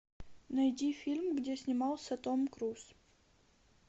найди фильм где снимался том круз